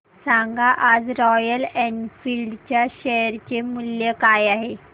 सांगा आज Royal Enfield च्या शेअर चे मूल्य काय आहे